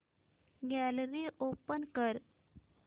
gallery open कर